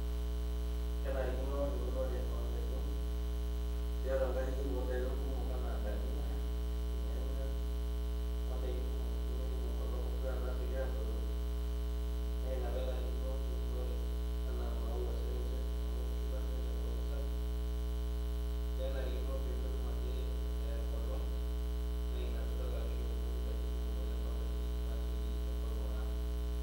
Kenarikino eunore oon'daikin tiatua nkajijik ooh n'daikin kumok anaa dania, ilnyanya ooh n'daikin kumuk nemeidimu enkolong ashua naasioki arruoyo ,naa ina pee enarikino eunore enaa maua sii ninche amu kiba sii ninche enkolong sapuk, kenarino pee metum ake eeh enkolong, naa ina piidol ajo keuni n'daikin kumok oleng too nkajijik naasioki enkolong aar.